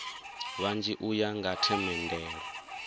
vhanzhi u ya nga themendelo